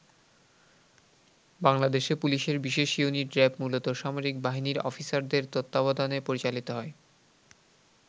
বাংলাদেশে পুলিশের বিশেষ ইউনিট র‍্যাব মূলত সামরিক বাহিনীর অফিসারদের তত্ত্বাবধানে পরিচালিত হয়।